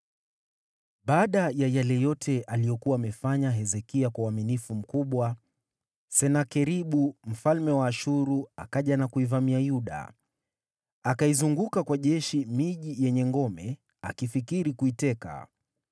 Baada ya yale yote aliyokuwa amefanya Hezekia kwa uaminifu mkubwa, Senakeribu mfalme wa Ashuru akaja na kuvamia Yuda. Akaizunguka miji yenye ngome kwa jeshi, akifikiri kuiteka iwe yake.